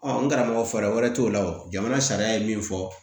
n karamɔgɔ fɛɛrɛ wɛrɛ t'o la o jamana sariya ye min fɔ